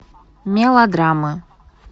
мелодрамы